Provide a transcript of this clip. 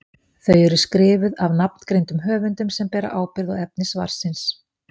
Þau eru skrifuð af nafngreindum höfundum sem bera ábyrgð á efni svarsins.